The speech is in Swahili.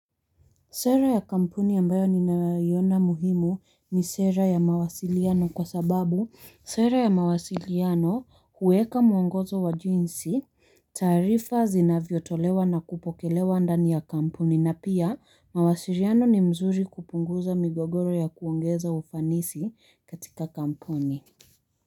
Sera ya kampuni yambayo ninaiona muhimu ni sera ya mawasiliano kwa sababu sera ya mawasiliano huweka muongozo wa jinsi, tarifa zinavyo tolewa na kupokelewa ndani ya kampuni na pia mawasiliano ni mzuri kupunguza migogoro ya kuongeza ufanisi katika kampuni.